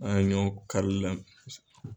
An ɲɔ kari la.